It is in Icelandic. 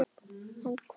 En hvernig?